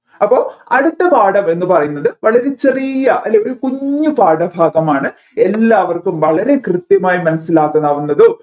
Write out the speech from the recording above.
അപ്പോ അടുത്ത പാഠം എന്ന് പറയുന്നത് വളരെ ചെറിയ അല്ലേ ഒരു കുഞ്ഞു പാഠഭാഗമാണ് എല്ലാവർക്കും വളരെ കൃത്യമായി മനസ്സിലാക്കാവുന്നത്തും